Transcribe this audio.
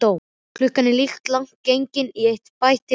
Klukkan er líka langt gengin í eitt, bætti hann við.